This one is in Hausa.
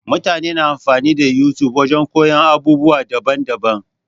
Mutane na amfani da YouTube wajen koyon abubuwa daban daban-daban.